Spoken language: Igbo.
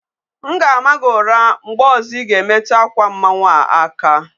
M ga-ama gị ụra mgbe ọzọ Ị ga-emetu akwa mmanwu a aka.